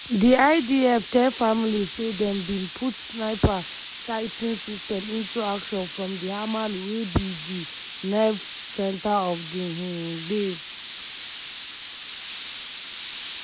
di idf tell families say dem bin put sniper-sighting system into action from di hamal wey be di nerve centre of di um base.